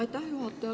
Aitäh, juhataja!